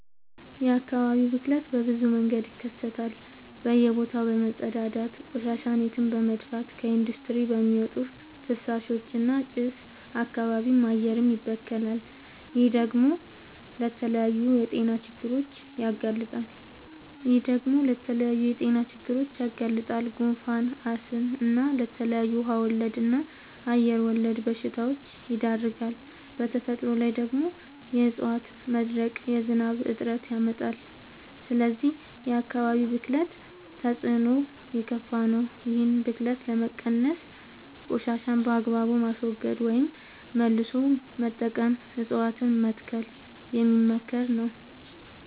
የአካባቢ ብክለት በብዙ መንገድ ይከሰታል በእየ ቦታው በመፀዳዳት፤ ቆሻሻን የትም በመድፍት፤ ከኢንዲስትሪ በሚወጡ ፍሳሾች እና ጭስ አካባቢም አየርም ይበከላል። ይህ ደግሞ ለተለያዩ የጤና ችግሮች ያጋልጣል። ጉንፋን፣ አስም እና ለተለያዩ ውሃ ወለድ እና አየር ወለድ በሽታወች ይዳርጋል። በተፈጥሮ ላይ ደግሞ የዕፀዋት መድረቅ የዝናብ እጥረት ያመጣል። ስለዚህ የአካባቢ ብክለት ተፅዕኖው የከፋ ነው። ይህን ብክለት ለመቀነስ ቆሻሻን በአግባቡ ማስወገድ ወይም መልሶ መጠቀም እፀዋትን መትከል የሚመከር ነው።